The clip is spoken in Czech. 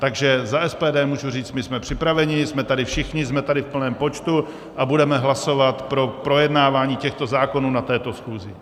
Takže za SPD můžu říct, my jsme připraveni, jsme tady všichni, jsme tady v plném počtu a budeme hlasovat pro projednávání těchto zákonů na této schůzi.